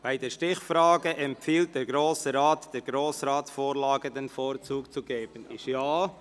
«Bei der Stichfrage empfiehlt der Grosse Rat, der Grossratsvorlage den Vorzug zu geben», ist Ja;